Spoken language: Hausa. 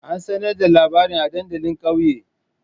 An sanar da labarin a dandalin kauye?